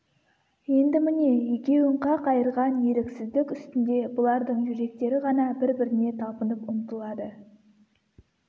енді міне екеуін қақ айырған еріксіздік үстінде бұлардың жүректері ғана бір-біріне талпынып ұмтылады